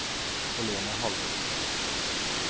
Helene Halvorsen